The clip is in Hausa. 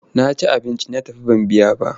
Na ci abinci na tafi ban biya ba.